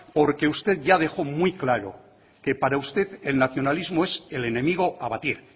porque usted ya dejó muy claro que para usted el nacionalismo es el enemigo a abatir